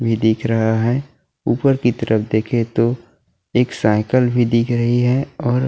ये दिख रहा है ऊपर की तरफ देखें तो एक साइकिल भी दिख रही है और --